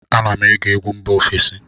Ana m ege egwu mba ofesi